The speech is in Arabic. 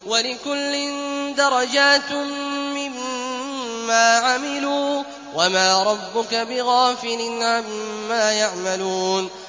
وَلِكُلٍّ دَرَجَاتٌ مِّمَّا عَمِلُوا ۚ وَمَا رَبُّكَ بِغَافِلٍ عَمَّا يَعْمَلُونَ